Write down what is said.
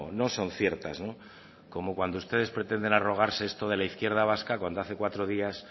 no son ciertas como cuando ustedes pretenden arrogarse esto de la izquierda vasca cuando hace cuatro días